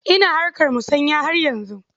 Ina harkar musanya har yanzu.